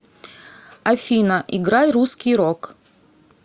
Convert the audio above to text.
афина играй русский рок